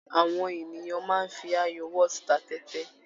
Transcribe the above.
Àwọn ènìyàn máa ń fi ayò whot ta tẹ́tẹ́.